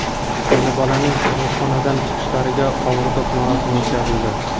Ona-bolaning tug‘ruqxonadan chiqishlariga qovurdoq marosimi o‘tkazildi.